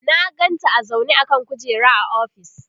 na ganta a zaune a kan kujera a ofis